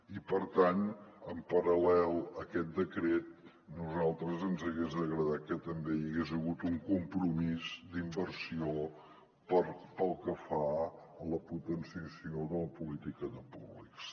i per tant en paral·lel a aquest decret a nosaltres ens hagués agradat que també hi hagués hagut un compromís d’inversió pel que fa a la potenciació de la política de públics